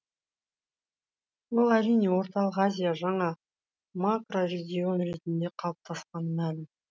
ол әрине орталық азия жаңа макрорегион ретінде қалыптасқаны мәлім